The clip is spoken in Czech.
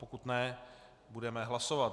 Pokud ne, budeme hlasovat.